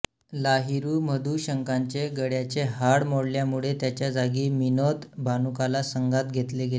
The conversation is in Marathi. लाहिरू मधुशंकाचे गळ्याचे हाड मोडल्यामुळे त्याच्याजागी मिनोद भानुकाला संघात घेतले गेले